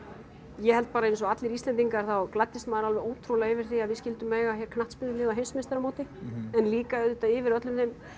ég held bara eins og allir Íslendingar þá gladdist maður alveg ótrúlega yfir því að við skyldum eiga hér knattspyrnulið á heimsmeistaramóti en líka auðvitað yfir öllum þeim